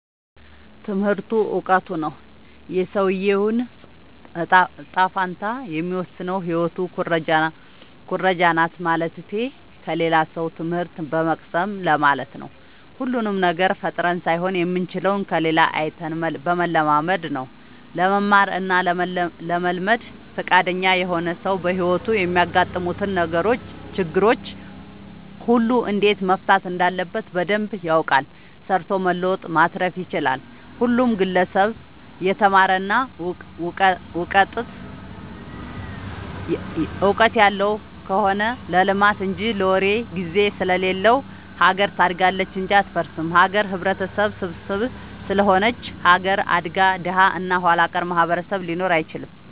ትምህርቱ እውቀቱ ነው። የሰውዬውን ጣፈንታ የሚወስነው ህይወት ኩረጃናት ማለትቴ ከሌላ ሰው ትምህት በመቅሰም ለማለት ነው። ሁሉንም ነገር ፈጥረን ሳይሆን የምንችለው ከሌላ አይተን በመለማመድ ነው። ለመማር እና ለመልመድ ፍቃደኛ የሆነ ሰው በህይወቱ የሚያጋጥሙትን ችግሮች ሁሉ እንዴት መፍታት እንዳለበት በደንብ ያውቃል ሰርቶ መለወጥ ማትረፍ ይችላል። ሁሉም ግለሰብ የተማረ እና ውቀጥት ያለው ከሆነ ለልማት እንጂ ለወሬ ግዜ ስለሌለው ሀገር ታድጋለች እንጂ አትፈርስም። ሀገር ህብረተሰብ ስብስብ ስለሆነች ሀገር አድጋ ደሀ እና ኋላቀር ማህበረሰብ ሊኖር አይችልም።